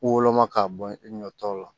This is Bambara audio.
Woloma ka bɔ i ɲɔ tɔw la